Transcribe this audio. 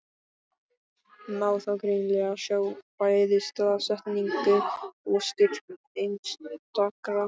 Má þá greinilega sjá bæði staðsetningu og styrk einstakra hvera.